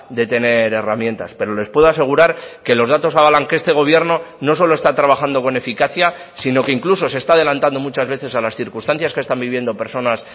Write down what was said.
de tener herramientas pero les puedo asegurar que los datos avalan que este gobierno no solo está trabajando con eficacia sino que incluso se está adelantando muchas veces a las circunstancias que están viviendo personas